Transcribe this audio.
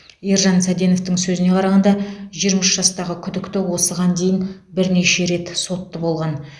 ержан саденовтің сөзіне қарағанда жиырма үш жастағы күдікті осыған дейін бірнеше рет сотты болған